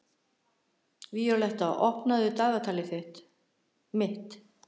Víóletta, opnaðu dagatalið mitt.